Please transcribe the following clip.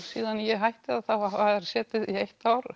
síðan ég hætti hafa þær setið í eitt ár